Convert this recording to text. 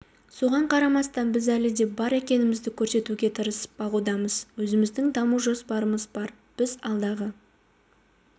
соған қарамастан біз әлі де бар екенімізді көрсетуге тырысып бағудамыз өзіміздің даму жоспарымыз бар біз алдағы